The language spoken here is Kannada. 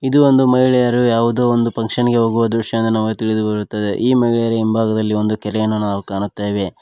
ಇದು ಒಂದು ಮಹಿಳೆಯರು ಯಾವುದೋ ಒಂದು ಪಂಕ್ಷನ್ ಗೆ ಹೋಗುವ ದೃಶ್ಯ ಎಂದು ನಮಗೆ ತಿಳಿದುಬರುತ್ತದೆ ಈ ಮಹಿಳೆಯರ ಹಿಂಭಾಗದಲ್ಲಿ ಒಂದು ಕೆರೆಯನ್ನು ನಾವು ಕಾಣುತ್ತೇವೆ.